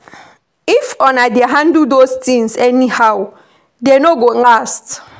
If una dey handle those things anyhow dey no go last